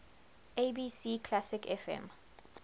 abc classic fm